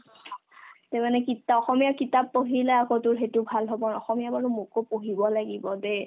তই মানে কিতা অসমীয়া কিতাপ পঢ়িলে আকৌ তোৰ সেইটো ভাল হ'ব অসমীয়া বাৰু মোকো পঢ়িব লাগিব দে